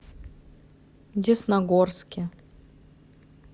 десногорске